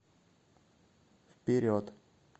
вперед